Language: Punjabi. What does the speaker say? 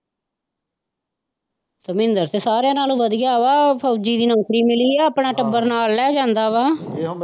ਧਰਮਿੰਦਰ ਤਾਂ ਸਾਰਿਆ ਨਾਲੋਂ ਵਧੀਆ ਵਾ ਫੌਜੀ ਦੀ ਨੌਕਰੀ ਮਿਲੀ ਆ ਆਪਣਾ ਟੱਬਰ ਨਾਲ ਲੈ ਜਾਂਦਾ ਵਾ।